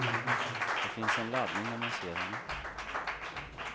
Det finns en laddning när man ser henne.